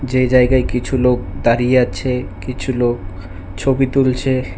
যে জায়গায় কিছু লোক দাঁড়িয়ে আছে কিছু লোক ছবি তুলছে।